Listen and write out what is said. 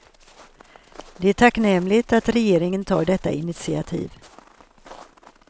Det är tacknämligt att regeringen tar detta initiativ.